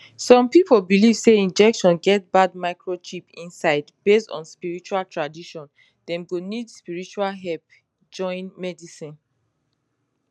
some people believe say injection get bad microchip inside based on spiritual tradition dem go need spiritual help join medicine